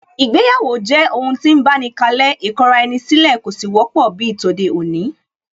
Ìgbéyàwó jẹ́ ohun tí ń báni kalẹ́, ìkọra-ẹni-sílẹ̀ kò sì wọ́pọ̀ bíi tòde-òní